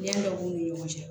Ɲɛ dɔ b'u ni ɲɔgɔn cɛ